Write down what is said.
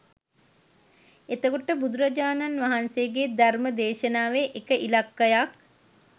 එතකොට බුදුරජාණන් වහන්සේගේ ධර්ම දේශනාවේ එක ඉලක්කයක්